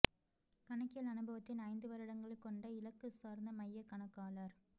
கணக்கியல் அனுபவத்தின் ஐந்து வருடங்கள் கொண்ட இலக்கு சார்ந்த மைய கணக்காளர்